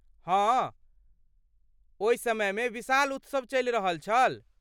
हँ, ओहि समयमे विशाल उत्सव चलि रहल छल।